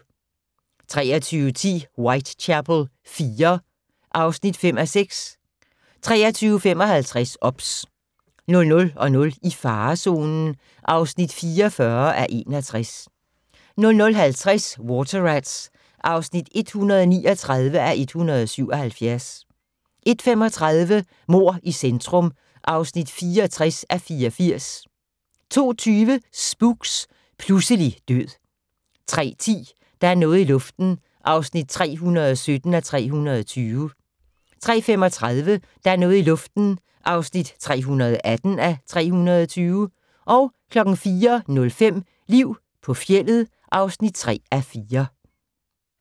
23:10: Whitechapel IV (5:6) 23:55: OBS 00:00: I farezonen (44:61) 00:50: Water Rats (139:177) 01:35: Mord i centrum (64:84) 02:20: Spooks: Pludselig død 03:10: Der er noget i luften (317:320) 03:35: Der er noget i luften (318:320) 04:05: Liv på fjeldet (3:4)